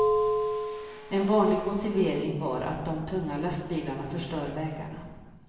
En vanlig motivering var att de tunga lastbilarna förstör vägarna.